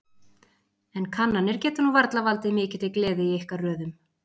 En kannanir geta nú varla valdið mikilli gleði í ykkar röðum?